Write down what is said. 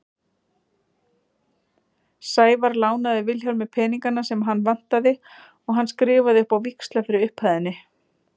Sævar lánaði Vilhjálmi peningana sem hann vantaði og hann skrifaði upp á víxla fyrir upphæðinni.